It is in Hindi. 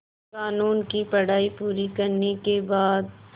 क़ानून की पढा़ई पूरी करने के बाद